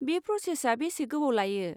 बे प्र'सेसआ बेसे गोबाव लायो?